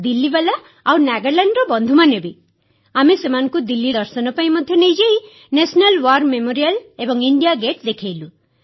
ଦିଲ୍ଲୀୱାଲା ଏବଂ ନାଗାଲାଣ୍ଡର ବନ୍ଧୁମାନେ ବି ଆମେ ସେମାନଙ୍କୁ ଦିଲ୍ଲୀ ଦର୍ଶନ ପାଇଁ ମଧ୍ୟ ନେଇଯାଇ ରାଷ୍ଟ୍ରୀୟ ଯୁଦ୍ଧ ସ୍ମାରକୀ ଏବଂ ଇଣ୍ଡିଆ ଗେଟ୍ ଦେଖାଇଲୁ